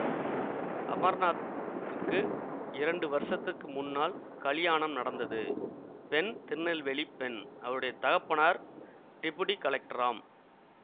அமர்நாத்துக்கு இரண்டு வருஷத்துக்கு முன்னால் கலியாணம் நடந்தது பெண் திருநெல்வேலிப் பெண் அவளுடைய தகப்பனார் டெபுடி கலெக்டராம்